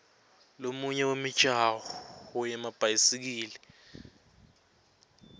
lomunye wemijaho yemabhayisikili